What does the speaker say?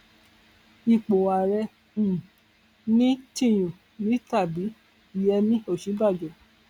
ipò ààrẹ um ní tìnyu ni tàbí yẹmi òsínbàjò